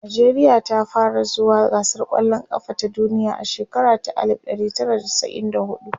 nijeriya ta fara zuwa gasar kwallan kafa ta duniya a shekara ta alif ɗari Tara da chasa'in da huɗu